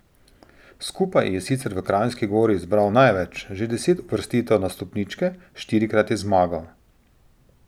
Skupaj je sicer v Kranjski Gori zbral največ, že deset uvrstitev na stopničke, štirikrat je zmagal.